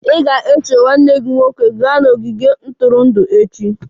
Ị ga-eso nwanne gị nwoke gaa n'ogige ntụrụndụ echi!